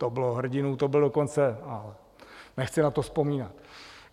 To bylo hrdinů, to bylo dokonce... ale nechci na to vzpomínat.